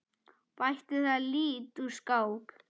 Bætti það lítt úr skák.